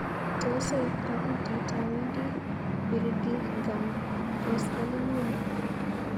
Tos aip kabutit awendi Birmingham koskoling'uni?